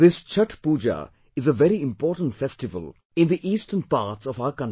This Chhathh Pooja is a very important festival in the Eastern parts of our country